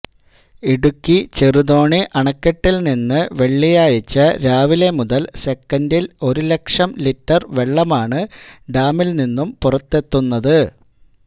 ഇടുക്കി ചെറുതോണി അണക്കെട്ടിൽനിന്ന് വെള്ളിയാഴ്ച രാവിലെ മുതൽ സെക്കന്റിൽ ഒരു ലക്ഷം ലിറ്റർ വെള്ളമാണ് ഡാമിൽ നിന്നു പുറത്തെത്തുന്നത്